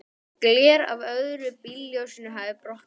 Gler af öðru bílljósinu hafði brotnað.